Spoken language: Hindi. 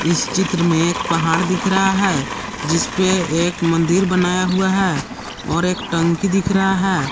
इस चित्र में एक पहाड़ दिख रहा है जिस पे एक मंदिर बनाया हुआ है और एक टंकी दिख रहा है।